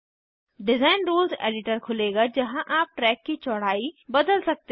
design rules editor खुलेगा जहाँ आप ट्रैक की चौड़ाई बदल सकते हैं